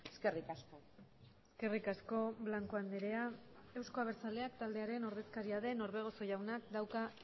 eskerrik asko eskerrik asko blanco andrea euzko abertzaleak taldearen ordezkaria den orbegozo jaunak dauka